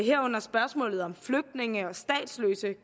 herunder spørgsmålet om flygtninge og statsløse